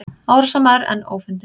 Árásarmaður enn ófundinn